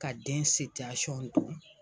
Ka den don.